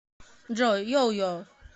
джой йойо